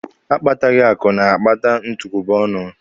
Akpataghị akụ na-akpata ntụkwụba ọnụ!